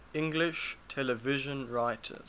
english television writers